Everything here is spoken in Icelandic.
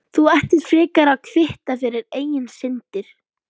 Þú ættir frekar að kvitta fyrir eigin syndir.